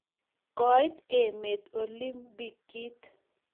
koit emet olimpikit